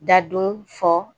Da dun fɔ